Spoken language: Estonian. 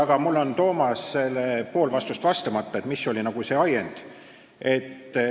Aga mul jäi Toomasele pool vastust vastamata, et mis oli see ajend.